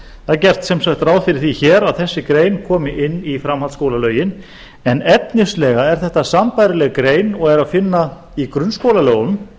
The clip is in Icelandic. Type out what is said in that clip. það er gert sem sagt ráð fyrir því hér að þessi grein komi inn í framhaldsskólalögin en efnislega er þetta sambærileg grein og er að finna í grunnskólalögunum